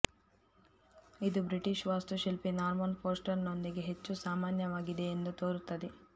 ಇದು ಬ್ರಿಟಿಷ್ ವಾಸ್ತುಶಿಲ್ಪಿ ನಾರ್ಮನ್ ಫೋಸ್ಟರ್ನೊಂದಿಗೆ ಹೆಚ್ಚು ಸಾಮಾನ್ಯವಾಗಿದೆ ಎಂದು ತೋರುತ್ತದೆ